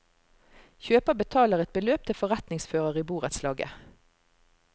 Kjøper betaler et beløp til forretningsfører i borettslaget.